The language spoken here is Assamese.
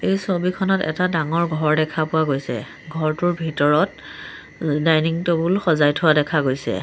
এই ছবিখনত এটা ডাঙৰ ঘৰ দেখা পোৱা গৈছে ঘৰটোৰ ভিতৰত দাইনিং টেবুল সজাই থোৱা দেখা গৈছে।